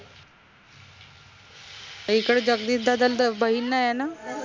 इकड जगदीश दादाल त बहीन नाई ए न?